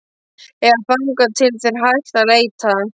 Eða þangað til þeir hætta að leita.